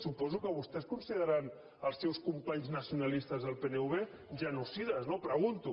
suposo que vostès consideraran els seus companys nacionalistes del pnv genocides no ho pregunto